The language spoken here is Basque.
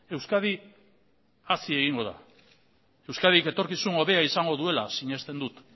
euskadi hazi egingo da euskadik etorkizun hobeaizango duela sinesten dut